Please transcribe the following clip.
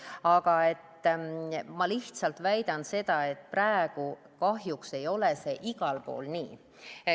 Aga ma lihtsalt väidan seda, et praegu kahjuks ei ole see igal pool nii.